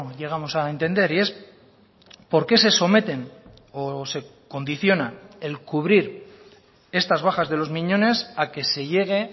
llegamos a entender y es por qué se someten o se condiciona el cubrir estas bajas de los miñones a que se llegue